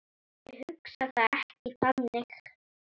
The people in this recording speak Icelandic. Ég hugsa það ekki þannig.